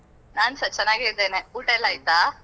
ನಾನ್ಸ ಚೆನ್ನಾಗೆ ಇದ್ದೇನೆ, ಊಟಾಯೆಲ್ಲ ಆಯ್ತಾ?